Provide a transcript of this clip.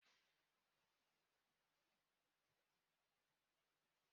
Were ihe bịa zachara ikpuru ndịa!